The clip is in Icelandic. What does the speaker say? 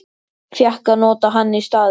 Fékk að nota hann í staðinn.